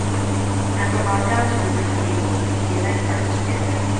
na from our dance group we begin bond we dey like dance togeda.